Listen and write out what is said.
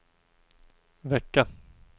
vecka